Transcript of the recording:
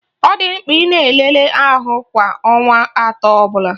Ọ dị mkpa ị na-elele ahụ kwa ọnwa atọ ọbụla